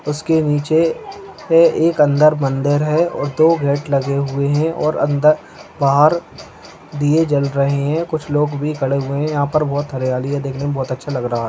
उसके नीचे है एक अंदर मंदिर है और दो गेट लगे हुए हैं और अंदर बाहर दिए जल रहें हैं कुछ लोग भी खड़े हुए हैं यहाँ पर बहुत हरियाली है देखने में बहुत अच्छा लग रहा है।